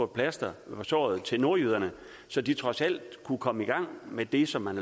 plaster på såret til nordjyderne så de trods alt kunne komme i gang med det som man